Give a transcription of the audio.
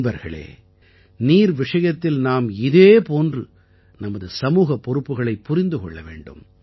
நண்பர்களே நீர் விஷயத்தில் நாம் இதே போன்று நமது சமூகப் பொறுப்புகளைப் புரிந்து கொள்ள வேண்டும்